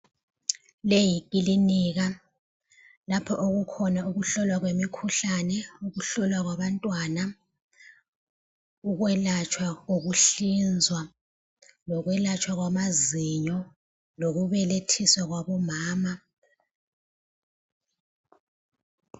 Leyi yikilinika lapho okukhona ukuhlolwa kwemikhuhlane, ukuhlolwa kwabantwana ukwelatshwa kokuhlinzwa, lokwelatshwa kwamazinyo lokubelethiswa kwabomama.